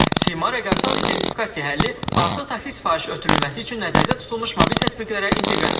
Sima rəqəmsal identifikasiya həlli artıq taksi sifarişi ötürülməsi üçün nəzərdə tutulmuş mobil tətbiqlərə inteqrasiya edilib.